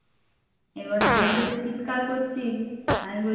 চিৎকার করছি আমি বলছি